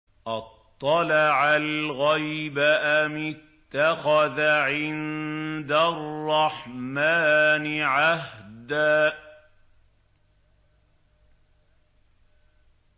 أَطَّلَعَ الْغَيْبَ أَمِ اتَّخَذَ عِندَ الرَّحْمَٰنِ عَهْدًا